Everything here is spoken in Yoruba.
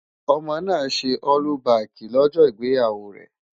Ọmọ náà ṣe ọ́lúbaàkì lọ́jọ́ ìgbéyàwó rẹ̀.